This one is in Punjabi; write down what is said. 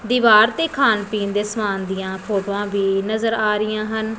ਦਿਵਾਰ ਤੇ ਖਾਨ ਪੀਨ ਦੇ ਸਮਾਨ ਦਿਆਂ ਫੋਟੋਆਂ ਵੀ ਨਜ਼ਰ ਆ ਰਹੀਆਂ ਹਨ।